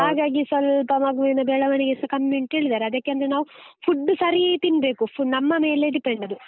ಹಾಗಾಗಿ ಸ್ವಲ್ಪ ಮಗುವಿನ ಬೆಳವಣಿಗೆಸ ಕಮ್ಮಿ ಉಂಟು ಹೇಳಿದ್ದಾರೆ, ಅದಕ್ಕೆ ಅಂದ್ರೆ ನಾವು food ಸರೀ ತಿನ್ಬೇಕು ನಮ್ಮ ಮೇಲೆ depend ಅದು.